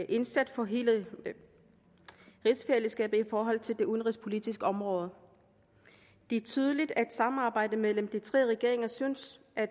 indsats for hele rigsfællesskabet i forhold til det udenrigspolitiske område det er tydeligt at samarbejdet mellem de tre regeringer synes at